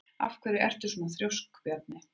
Af hverju ertu svona þrjóskur, Bjarney?